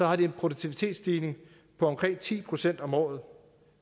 har de en produktivitetsstigning på omkring ti procent om året